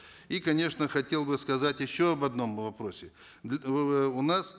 и конечно хотел бы сказать еще об одном вопросе у нас